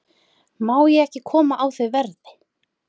Má ég ekki koma á þau verði?